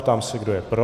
Ptám se, kdo je pro.